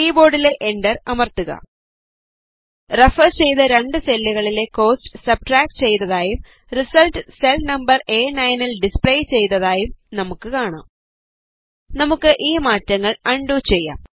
കീബോർഡിലെ enter അമർത്തുക refer ചെയ്ത രണ്ട് സെല്ലുകളിലെ കോസ്റ്റ് സബ്സ്ട്രാക്ട് ചെയ്തതായും റിസൾട്ട് സെൽ നമ്പർ അ9 ൽ ഡിസ്പ്ലേ ചെയ്തതായും നമുക്ക് കാണാം നമുക്ക് ഈ മാറ്റങ്ങൾ അൺഡു ചെയ്യാം